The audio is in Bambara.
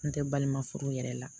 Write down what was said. N tɛ balima furu yɛrɛ la